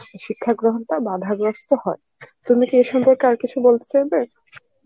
শিক্ষা গ্রহণটা বাধাগ্রস্থ হয়, তুমি কি এ সম্পর্কে আরো কিছু বলতে চাইবে?